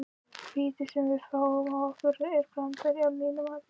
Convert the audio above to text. Vítið sem að við fáum á okkur er brandari að mínu mati.